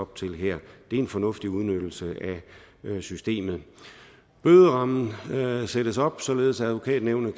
til her det er en fornuftig udnyttelse af systemet bøderammen sættes op således at advokatnævnet